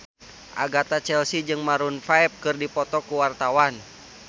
Agatha Chelsea jeung Maroon 5 keur dipoto ku wartawan